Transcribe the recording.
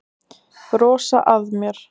Brosa að mér!